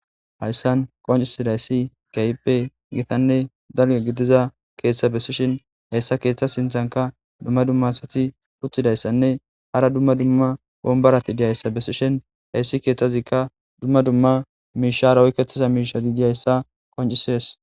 Hayssan qonccissidayssi keehippe githanne dalgga gidiza keeththa bessishin heyssa keeththa sinthankka dumma dumma asathi uththidayssanne hara dumma dumma wombarathi diyayssa bessishin heyssi keeththazikka dumma dumma miishshaara oykeththiza miishsha gididayssa qonccissees.